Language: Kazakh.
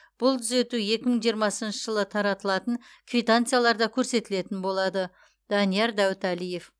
бұл түзету екі мың жиырмасыншы жылы таратылатын квитанцияларда көрсетілетін болады данияр дәуіталиев